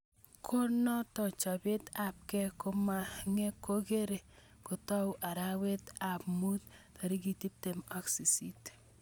Kunotok chopet ab ke koamenge kokigere kotau arawet ab mut 18.